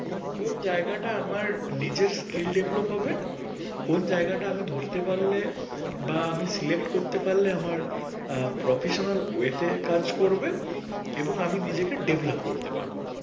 কোন জায়গাটা আমার নিজের skill develop হবে কোন জায়গাটা আমি ধরতে পারলে বা আমি select করতে পারলে আমার professional way তে কাজ করবে এবং আমি নিজেকে develop করতে পারবো।